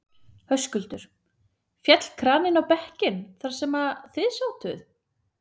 Höskuldur: Féll kraninn á bekkinn þar sem þið sátuð?